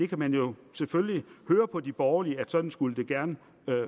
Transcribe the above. kan jo selvfølgelig høre på de borgerlige at sådan skulle det gerne